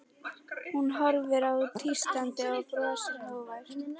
Hún horfir á hann tístandi, hann brosir, hógvær.